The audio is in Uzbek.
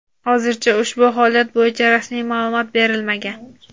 Hozircha ushbu holat bo‘yicha rasmiy ma’lumot berilmagan.